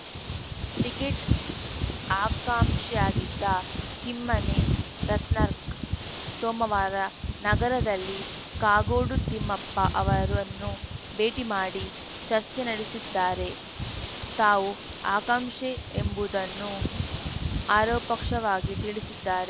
ticket ಆಕಾಂಷಿಯಾಗಿದ್ದ ಕಿಮ್ಮನೆ ರತ್ನಾಕ್ ಸೋಮವಾರ ನಗರದಲ್ಲಿ ಕಾಗೋಡು ತಿಮ್ಮಪ್ಪ ಅವರನ್ನು ಭೇಟಿ ಮಾಡಿ ಚರ್ಚೆ ನಡೆಸಿದ್ದಾರೆ ತಾವು ಆಕಾಂಷಿ ಎಂಬುದನ್ನು ಆರೋ ಪರೋಕ್ಷವಾಗಿ ತಿಳಿಸಿದ್ದಾರೆ